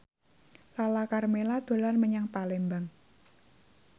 Lala Karmela dolan menyang Palembang